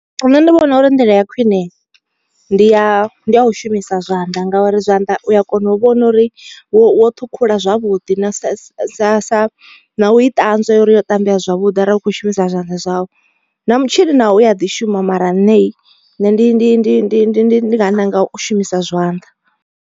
Nṋe ndi vhona uri ndila ya khwine ndi ya ndi ya u shumisa zwanḓa ngauri zwanḓa u a kona u vhona uri wo ṱhukhula zwavhuḓi na sa sa sa na u i ṱanzwa uri yo tambea zwavhuḓi arali u kho shumisa zwanḓa zwau. Na mutshini nawo u a ḓi shuma mara nṋe ndi ndi ndi ndi ndi ndi nga ṋanga u shumisa zwanḓa.